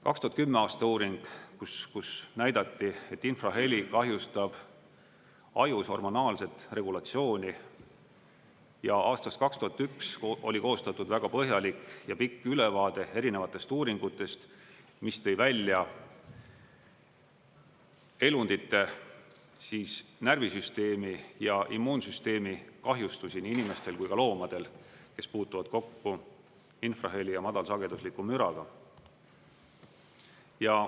2010. aasta uuring, kus näidati, et infraheli kahjustab ajus hormonaalset regulatsiooni, ja aastast 2001 oli koostatud väga põhjalik ja pikk ülevaade erinevatest uuringutest, mis tõi välja elundite, siis närvisüsteemi ja immuunsüsteemi kahjustusi nii inimestel kui ka loomadel, kes puutuvad kokku infraheli ja madalsagedusliku müraga.